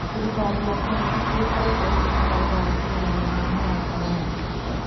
Thirikari ya Kenya nĩ ĩkoretwo ĩkĩruta wĩra wa kũrũgamia mũrimũ wa Corona.